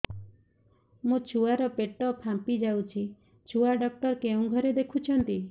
ମୋ ଛୁଆ ର ପେଟ ଫାମ୍ପି ଯାଉଛି ଛୁଆ ଡକ୍ଟର କେଉଁ ଘରେ ଦେଖୁ ଛନ୍ତି